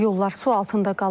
Yollar su altında qalıb.